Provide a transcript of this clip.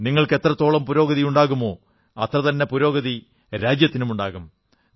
നിങ്ങൾക്ക് എത്രത്തോളം പുരോഗതിയുണ്ടാകുമോ അത്രതന്നെ പുരോഗതി രാജ്യത്തിനുമുണ്ടാകും